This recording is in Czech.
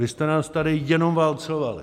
Vy jste nás tady jenom válcovali.